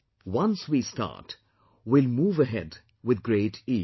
Once we start, we will move ahead with great ease